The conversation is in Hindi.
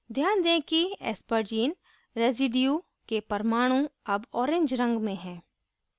ध्यान दें कि aspargine residue के परमाणु अब orange रंग में हैं